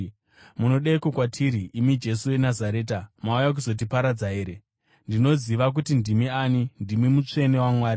“Munodeiko kwatiri, imi Jesu weNazareta? Mauya kuzotiparadza here? Ndinoziva kuti ndimi ani, imi Mutsvene waMwari!”